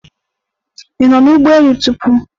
Ị nọ n'ụgbọ elu tupu?